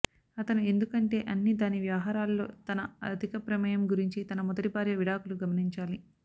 అతను ఎందుకంటే అన్ని దాని వ్యవహారాలలో తన అధిక ప్రమేయం గురించి తన మొదటి భార్య విడాకులు గమనించాలి